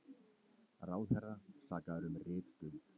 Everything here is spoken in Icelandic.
Ráðherra sakaður um ritstuld